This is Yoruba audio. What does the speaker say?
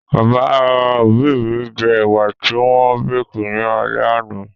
Bàbá òbí mi jẹ ẹ̀wà ti wọ́n békì ní alẹ́ àná